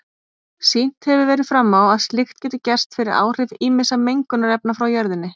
Sýnt hefur verið fram á að slíkt getur gerst fyrir áhrif ýmissa mengunarefna frá jörðinni.